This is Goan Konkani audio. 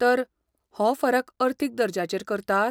तर, हो फरक अर्थीक दर्ज्याचेर करतात?